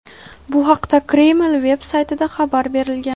Bu haqda Kreml veb-saytida xabar berilgan.